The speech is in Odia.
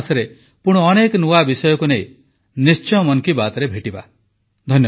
ଆଗାମୀ ମାସରେ ପୁଣି ଅନେକ ନୂଆ ବିଷୟକୁ ନେଇ ନିଶ୍ଚୟ ମନ୍ କି ବାତ୍ରେ ଭେଟିବା